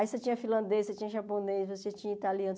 Aí você tinha finlandês, você tinha japonês, você tinha italiano.